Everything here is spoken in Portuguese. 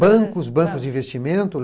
Bancos, bancos de investimento.